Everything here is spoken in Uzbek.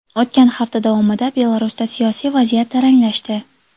O‘tgan hafta davomida Belarusda siyosiy vaziyat taranglashdi.